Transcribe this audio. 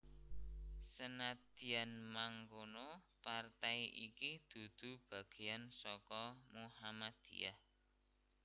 Senadyan mangkono partai iki dudu bagéyan saka Muhammadiyah